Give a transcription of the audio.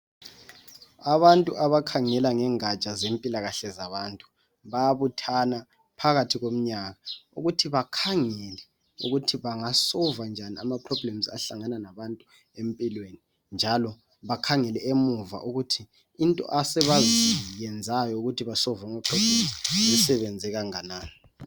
Abantu abakhangela ngengaja zempilakahle zabantu bayabuthana phakathi komnyaka ukuthi bakhangele ukuthi banga soluva njani ama problems abahlangana labantu empilweni. Njalo bakhangele emuva ukuthi into asebazenzayo ukuthi bekhangele ama problems sisebenze kanganani.